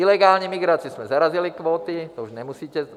Ilegální migraci jsme zarazili kvóty, to už nemusíte.